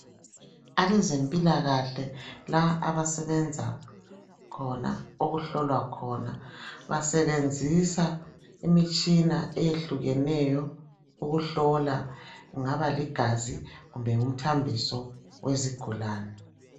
Abezempilakalakahle la abasebenza khona okuhlolwa khona basebenzisa imitshina eyehlukeneyo ukuhlola kungaba ligazi kumbe ngumthambiso wezigulane.